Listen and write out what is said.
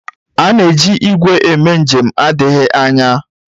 A na-eji igwe eme njem na-adịghị anya.